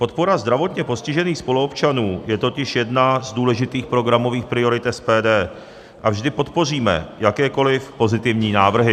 Podpora zdravotně postižených spoluobčanů je totiž jedna z důležitých programových priorit SPD a vždy podpoříme jakékoliv pozitivní návrhy.